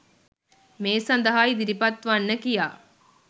මේ සඳහා ඉදිරිපත් වන්න කියා.